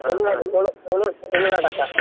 ತುಳು ತುಳು ತುಳು ನಾಟಕ.